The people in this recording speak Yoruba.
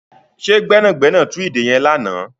Ṣe gbẹ́nàgbẹ́nà tú ìdè yẹn lánàá?